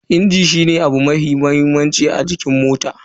Injin shine abu mafi mahimmanci a cikin mota.